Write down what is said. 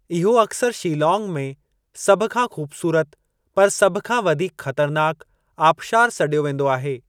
इहो अक्सर शीलांग में "सभ खां ख़ूबसूरत पर, सभ खां वधीक ख़तरनाकु" आबशारु सॾियो वेंदो आहे।